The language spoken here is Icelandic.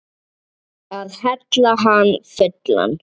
Að hella hann fullan.